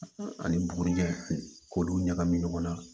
Ani bugurijɛ k'olu ɲagami ɲɔgɔn na